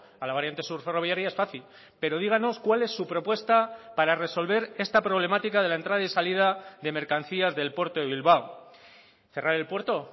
a la variante sur ferroviaria es fácil pero díganos cuál es su propuesta para resolver esta problemática de la entrada y salida de mercancías del puerto de bilbao cerrar el puerto